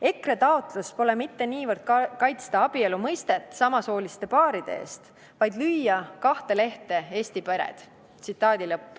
EKRE taotlus pole mitte niivõrd kaitsta abielu mõistet samasooliste paaride eest, vaid lüüa kahte lehte Eesti pered.